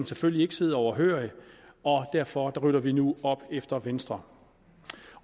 selvfølgelig ikke sidde overhørig og derfor rydder vi nu op efter venstre